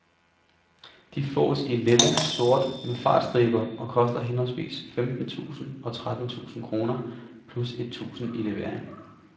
De fås i lilla og sort, med fartstriber, og koster henholdsvis femten tusinde og tretten tusinde kroner, plus et tusinde i levering.